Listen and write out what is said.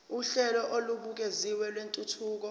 uhlelo olubukeziwe lwentuthuko